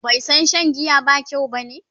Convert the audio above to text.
bai San Shan giya ba kyau bane?